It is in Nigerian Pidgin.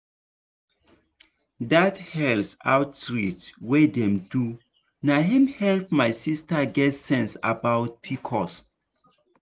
dat health outreach wey dem do na him help my sister get sense about pcos.